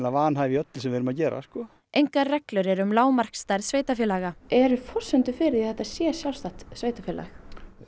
vanhæf í öllu sem við erum að gera engar reglur eru um lágmarksstærð sveitarfélaga eru forsendur fyrir því að þetta sé sjálfstætt sveitarfélag